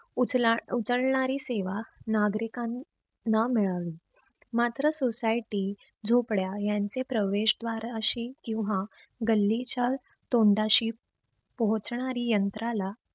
उचला उचलणारी सेवा नागरीकां ना मिळावी. मात्र society, झोपड्या यांचे प्रवेश द्वार अशी किंव्हा गल्लीच्या तोंडाशी पोहोचणारी यंत्राला